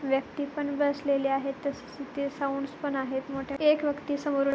व्यक्ति पण बसलेले आहेत तसेच इथे साऊंड्स पण आहेत मोठे एक व्यक्ति समोरून --